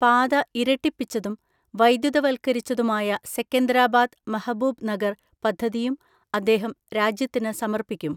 പാത ഇരട്ടിപ്പിച്ചതും വൈദ്യുതവൾക്കരിച്ചതുമായ സെക്കന്തരാബാദ് മഹബൂബ് നഗർ പദ്ധതിയും അദ്ദേഹം രാജ്യത്തിന് സമർപ്പിക്കും.